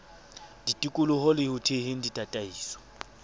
ditoloko le ho theheng ditataiso